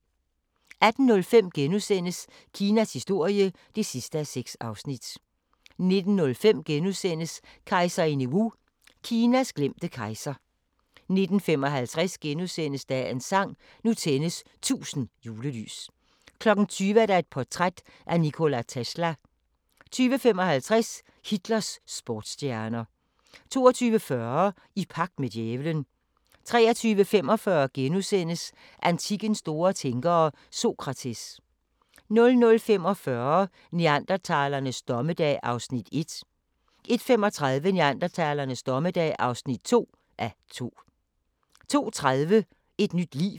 18:05: Kinas historie (6:6)* 19:05: Kejserinde Wu – Kinas glemte kejser * 19:55: Dagens sang: Nu tændes 1000 julelys * 20:00: Portræt af Nikola Tesla 20:55: Hitlers sportsstjerner 22:40: I pagt med djævelen 23:45: Antikkens store tænkere – Sokrates * 00:45: Neandertalernes dommedag (1:2) 01:35: Neandertalernes dommedag (2:2) 02:30: Et nyt liv